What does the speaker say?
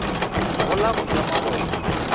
go la go ja mabone